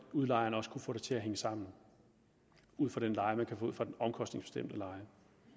udlejeren også kunne få det til at hænge sammen ud fra den leje man kan få ud fra den omkostningsbestemte leje